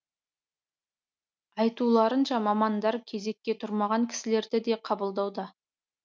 айтуларынша мамандар кезекке тұрмаған кісілерді де қабылдауда